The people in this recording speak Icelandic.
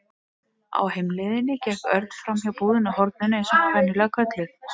Á heimleiðinni gekk Örn framhjá búðinni á horninu eins og hún var venjulega kölluð.